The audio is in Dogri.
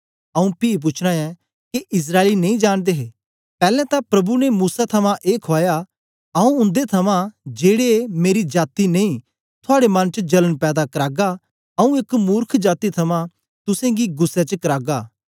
आऊँ पी पूछना ऐं के इस्राएली नेई जांनदे हे पैलैं तां प्रभु ने मूसा थमां ए खुआया आऊँ उन्दे थमां जेड़े मेरी जाती नेई थुआड़े मन च जलन पैदा करागा आऊँ एक मुर्ख जाती थमां तुसेंगी गुस्सै च करागा